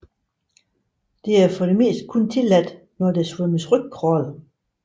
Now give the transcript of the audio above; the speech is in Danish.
Dette er for det meste kun tilladt når der svømmes rygcrawl